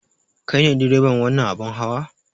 Kai ne direban wannan abin hawa?